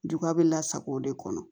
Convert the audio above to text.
Duba bɛ lasago o de kɔnɔ